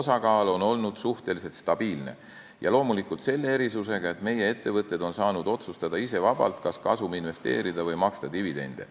osakaal olnud suhteliselt stabiilne, ja loomulikult selle erisusega, et meie ettevõtjad on saanud ise vabalt otsustada, kas kasum investeerida või maksta dividende.